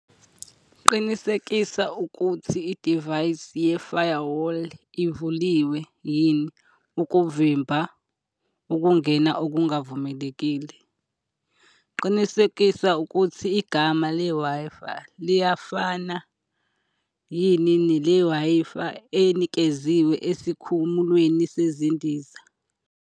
Qinisekisa ukuthi idivayisi ye-Firewall ivuliwe yini ukuvimba ukungena okungavumelekile. Qinisekisa ukuthi igama le-Wi-Fi liyafana yini nele-Wi-Fi enikeziwe esikhumulweni sezindiza.